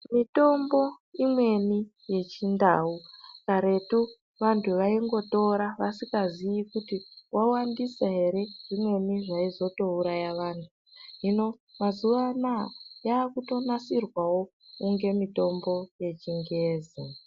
Mitombo imweni yechindau karetu vantu vaingotora vasikazii kuti wawandisa ere zvimweni zvaizotouraya vantu. Hino mazuwa anaa yaakutonasirwawo kunge mitombo yechingezi.